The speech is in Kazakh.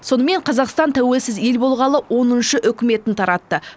сонымен қазақстан тәуелсіз ел болғалы оныншы үкіметін таратты